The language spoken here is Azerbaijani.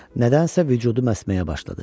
Nədənsə vücudu əsməyə başladı.